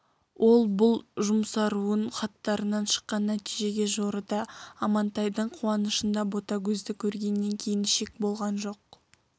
ол бұл жұмсаруын хаттарынан шыққан нәтижеге жорыды амантайдың қуанышында ботагөзді көргеннен кейін шек болған жоқ